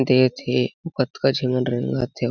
दे थे आउ कतका हुमन रेंगत हे।